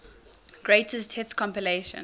greatest hits compilation